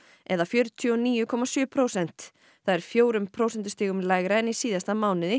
eða fjörutíu og níu komma sjö prósent það er fjórum prósentustigum lægra en í síðasta mánuði